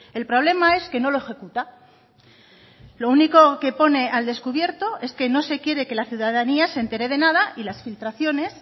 el problema es que no lo ejecuta lo único que pone al descubierto es que no se quiere que la ciudadanía se entere de nada y las filtraciones